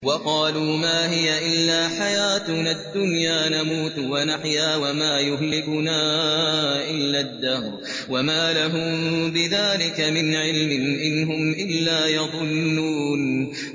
وَقَالُوا مَا هِيَ إِلَّا حَيَاتُنَا الدُّنْيَا نَمُوتُ وَنَحْيَا وَمَا يُهْلِكُنَا إِلَّا الدَّهْرُ ۚ وَمَا لَهُم بِذَٰلِكَ مِنْ عِلْمٍ ۖ إِنْ هُمْ إِلَّا يَظُنُّونَ